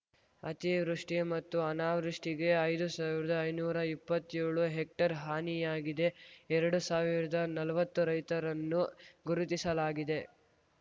ಅತಿವೃಷ್ಟಿಮತ್ತು ಅನಾವೃಷ್ಟಿಗೆ ಐದು ಸಾವಿರ್ದಾಐನೂರಾ ಇಪ್ಪತ್ಯೋಳು ಹೆಕ್ಟೇರ್‌ ಹಾನಿಯಾಗಿದೆ ಎರಡು ಸಾವಿರ್ದಾ ನಲ್ವತ್ತು ರೈತರನ್ನು ಗುರುತಿಸಲಾಗಿದೆ